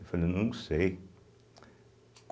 Eu falei, não sei.